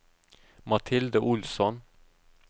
Mathilde Olsson